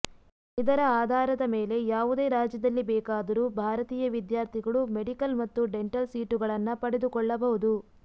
ಇದರ ಆಧಾರದ ಮೇಲೆ ಯಾವುದೇ ರಾಜ್ಯದಲ್ಲಿ ಬೇಕಾದರೂ ಭಾರತೀಯ ವಿದ್ಯಾರ್ಥಿಗಳು ಮೆಡಿಕಲ್ ಮತ್ತು ಡೆಂಟಲ್ ಸೀಟುಗಳನ್ನ ಪಡೆದುಕೊಳ್ಳಬಹುದು